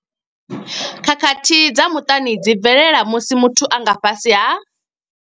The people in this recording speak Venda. Khakhathi dza muṱani dzi bvelela musi muthu a nga fhasi ha.